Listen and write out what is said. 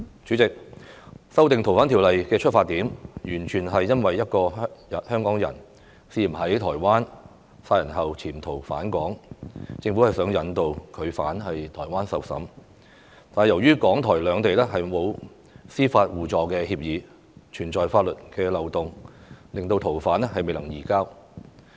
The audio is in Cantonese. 主席，修訂《逃犯條例》的出發點，完全是因為一個香港人涉嫌在台灣殺人後潛逃返港，政府想引渡他到台灣受審，但由於港、台兩地沒有司法互助協議，存在法律漏洞，令逃犯未能移交。